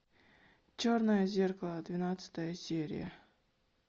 черное зеркало двенадцатая серия